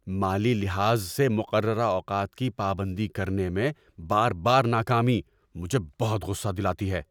مالی لحاظ سے مقررہ اوقات کی پابندی کرنے میں بار بار ناکامی مجھے بہت غصہ دلاتی ہے۔